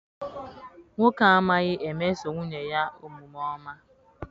Nwoke a amaghi emeso nwunye ya omume ọma.